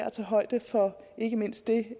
at tage højde for ikke mindst det